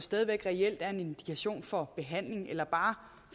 stadig væk reelt er en indikation for behandling eller bare